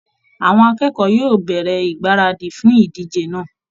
Àwọn akẹ́kọ̀ọ́ yóò bẹ̀rẹ̀ ìgbáradì fún ìdíje náà